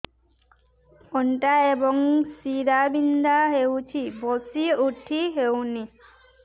ଅଣ୍ଟା ଏବଂ ଶୀରା ବିନ୍ଧା ହେଉଛି ବସି ଉଠି ହଉନି